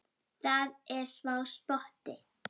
Það er smá spotti.